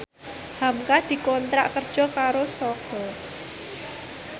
hamka dikontrak kerja karo Sogo